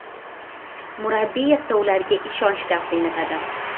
Murabbiy esa ularga ishonch taqdim etadi.